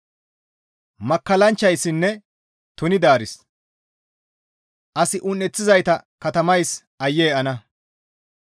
Makkallanchchayssinne tunidaaris, as un7eththizayta katamays aayye ana!